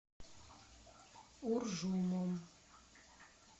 уржумом